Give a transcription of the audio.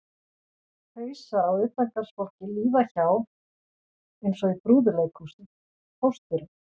Hausar á utangarðsfólki líða hjá eins og í brúðuleikhúsi: Pósturinn